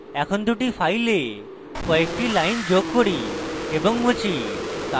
এখন দুটি files কয়েকটি lines যোগ করি এবং মুছি